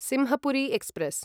Simhapuri express